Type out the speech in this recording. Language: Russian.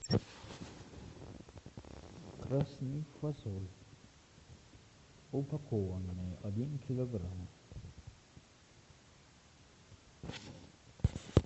красная фасоль упакованная один килограмм